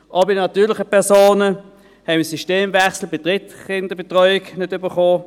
Auch bei den natürlichen Personen haben wir den Systemwechsel bei der Drittkinderbetreuung nicht erhalten.